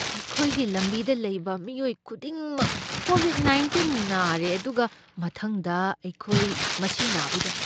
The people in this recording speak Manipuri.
ꯑꯩꯈꯣꯏꯒꯤ ꯂꯝꯕꯤꯗ ꯂꯩꯕ ꯃꯤꯑꯣꯏ ꯈꯨꯗꯤꯡꯃꯛ ꯀꯣꯕꯤꯗ ꯅꯥꯢꯟꯇꯤꯟ ꯅꯥꯔꯦ, ꯑꯗꯨꯒ ꯃꯊꯪꯗ ꯑꯩꯈꯣꯏ ꯃꯁꯤ ꯅꯥꯕ ꯌꯥꯏ꯫